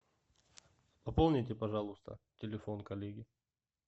пополните пожалуйста телефон коллеги